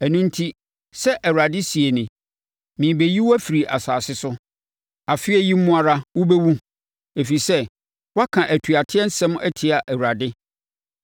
Ɛno enti, sɛ Awurade seɛ nie: ‘Merebɛyi wo afiri asase so. Afeɛ yi mu ara wobɛwu, ɛfiri sɛ woaka atuateɛ nsɛm atia Awurade.’ ”